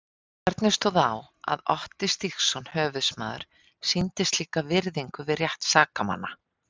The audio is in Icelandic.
Hvernig stóð á að Otti Stígsson höfuðsmaður sýndi slíka virðingu við rétt sakamanna?